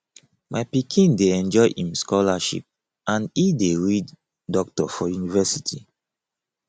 my pikin dey enjoy im scholarship and e dey read doctor for universilty